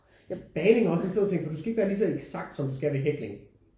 Bagning er også en fed ting for du skal ikke være lige så eksakt som du skal med hækling